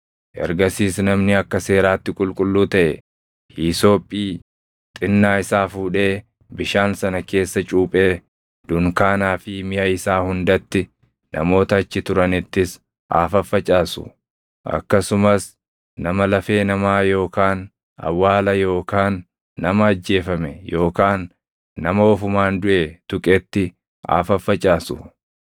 Ergasiis namni akka seeraatti qulqulluu taʼe hiisophii xinnaa isaa fuudhee bishaan sana keessa cuuphee dunkaanaa fi miʼa isaa hundatti, namoota achi turanittis haa faffacaasu. Akkasumas nama lafee namaa yookaan awwaala yookaan nama ajjeefame yookaan nama ofumaan duʼe tuqetti haa faffacaasu.